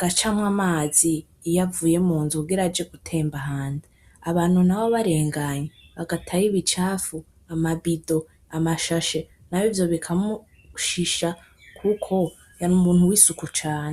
gacamwo amazi iyo avuye munzu kugira aje gutemba hanze abantu nabo barenganye bagatayo ibicafu amabido amashashe nawe ivyo bikamushisha kuko yari umuntu wisuku cane.